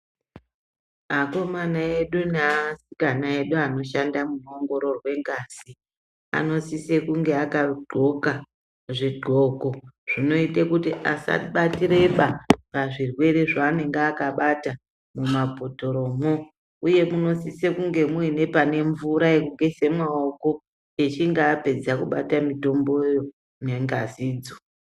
Akomana edu neasikana edu anoshanda munoongororwe ngazi, anosise kunge akadxoka zvidxoko zvinoite kuti asabatireba pazvirwere zvaanenge akabata mumabhotoromo uye munosise kunge mune pane mvura yekugeze maoko echinge apedza kubata mutomboyo nengazi idzo.